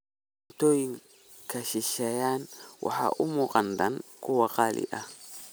Cuntooyinka shisheeye waxay u muuqdaan kuwo qaali ah.